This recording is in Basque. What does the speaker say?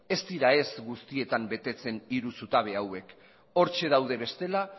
ez dira guztietan betetzen hiru zutabe hauek hortxe daude bestela